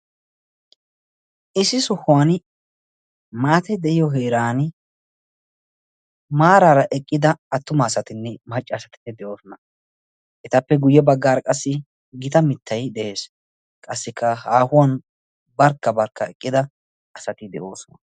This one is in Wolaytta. Issi sohuwan maate de'iyo heeran maaraara eqqida attuma asatinne maccaasatinne de'oosona etappe guyye baggaar qassi gita mittay de'ees qassikka haahuwan barkka barkka eqqida asati de'oosona.